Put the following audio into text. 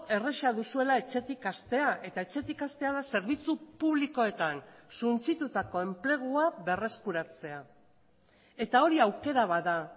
erraza duzuela etxetik hastea eta etxetik hastea da zerbitzu publikoetan suntsitutako enplegua berreskuratzea eta hori aukera bat da